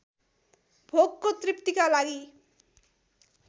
भोकको तृप्तिका लागि